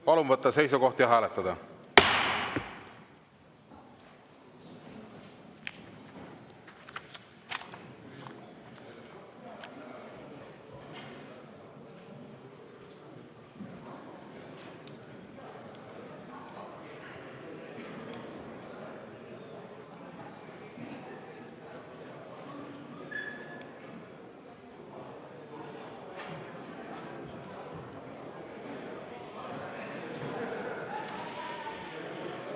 Palun võtta seisukoht ja hääletada!